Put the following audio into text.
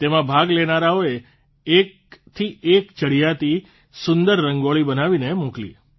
તેમાં ભાગ લેનારાઓએ એક એકથી ચડિયાતી સુંદર રંગોળી બનાવીને મોકલી